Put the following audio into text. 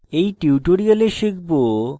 in tutorial শিখব